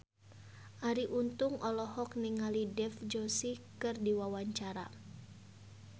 Arie Untung olohok ningali Dev Joshi keur diwawancara